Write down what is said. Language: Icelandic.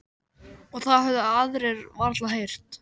Og það höfðu aðrir varla heyrt.